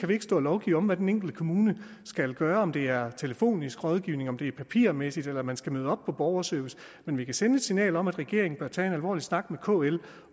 vi ikke stå og lovgive om hvad den enkelte kommune skal gøre om det er telefonisk rådgivning om det er papirmæssigt eller om man skal møde op på borgerservice men vi kan sende et signal om at regeringen bør tage en alvorlig snak med kl